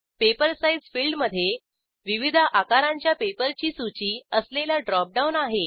paper size field मधे विविध आकारांच्या पेपरची सूची असलेला ड्रॉप डाऊन आहे